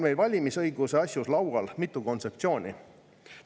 Valimisõiguse asjus on laual mitu kontseptsiooni.